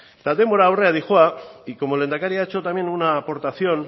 eta denbora aurrera doa y como lehendakari ha hecho también una aportación